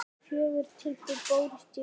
Fjögur tilboð bárust í verkið.